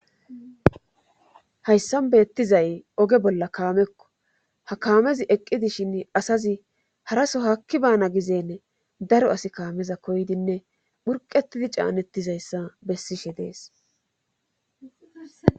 hayssan beettizay oge bolla kaamekko ha kaamezi eqq idishin asazi haraso hakki baana gizeen daro asi kaameza koydinne phurqetidi caanettizayssa bessishe dees